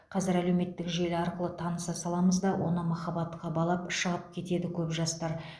қазір әлеуметтік желі арқылы таныса саламыз да оны махаббатқа балап шығып кетеді көп жастар